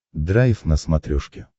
драйв на смотрешке